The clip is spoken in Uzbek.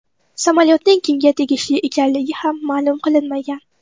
Samolyotning kimga tegishli ekanligi ham ma’lum qilinmagan.